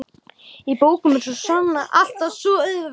Í bókum var svonalagað alltaf svo auðvelt.